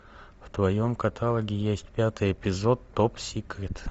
в твоем каталоге есть пятый эпизод топ секрет